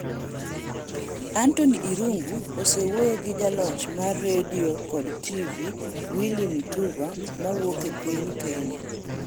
Anthony Irungu osewuoyo gi jaloch mar redio kod TV Willy M Tuva mawuok piny Kenya.